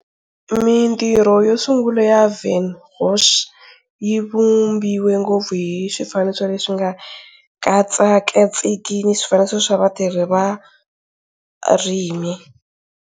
Mintirho yo sungula ya Van Gogh yi vumbiwa ngopfu hi swifaniso leswi nga tsekatsekiki ni swifaniso swa vatirhi va varimi.